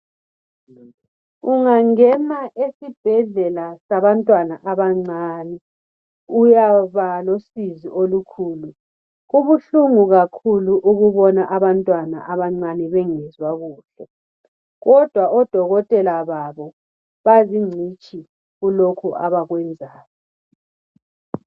Ungangena esibhedlela sabantwana abancane uyaba losizi olukhulu kubuhlungu kakhulu ukubona abantwana abancane bengezwa kuhle kodwa odokotela babo bazingcitshi kulokhu abakwenzayo.